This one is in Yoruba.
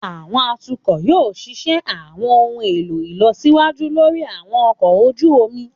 Àwọn atukọ yoo ṣiṣẹ àwọn ohun elo ilọsiwaju lori àwọn ọkọ oju omi.